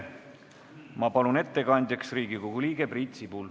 Ma palun ettekandjaks Riigikogu liikme Priit Sibula.